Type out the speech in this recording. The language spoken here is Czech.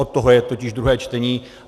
Od toho je totiž druhé čtení.